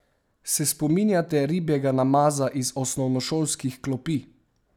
Se spominjate ribjega namaza iz osnovnošolskih klopi?